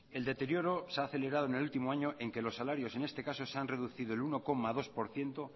el deterioro se ha acelerado en el último año en que los salarios en este caso se han reducido el uno coma dos por ciento